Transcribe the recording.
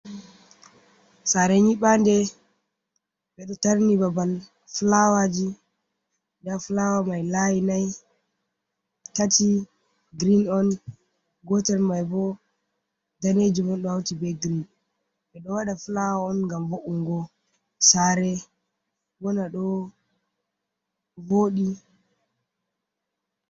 Sare nyibande be do tarni babal flawaji da flawa mai layi nai tati green on gotel mai bo daneji mon do hauti be green be do wada flawa on gam vo’ungo sare bona do voɗi.